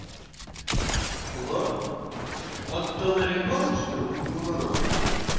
лор отоларинголог что-ли ухо горло нос